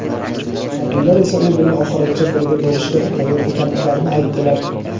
Harbiylar esa u bilan oxirigacha birga bo‘lishga tayyor ekanliklarini aytdilar.